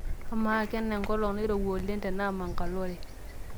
amaa kena enkolong' nairowua oleng te Mangalore